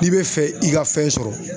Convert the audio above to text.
N'i bɛ fɛ i ka fɛn sɔrɔ.